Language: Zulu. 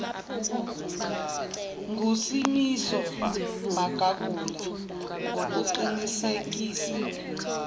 ngusimiso magagula ngokuqinisekisa